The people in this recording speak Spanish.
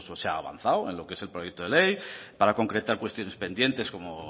se ha avanzado en lo que es el proyecto de ley para concretar cuestiones pendientes como